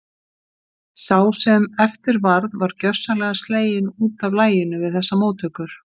Sá sem eftir varð var gjörsamlega sleginn út af laginu við þessar móttökur.